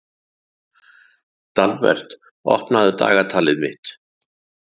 Dalbert, opnaðu dagatalið mitt.